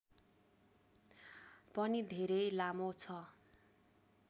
पनि धेरै लामो छ